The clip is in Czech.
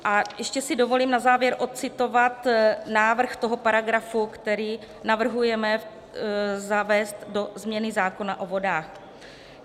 A ještě si dovolím na závěr odcitovat návrh toho paragrafu, který navrhujeme zavést do změny zákona o vodách.